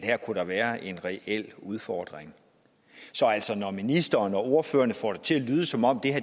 her kunne være en reel udfordring så når ministeren og ordførerne får det til at lyde som om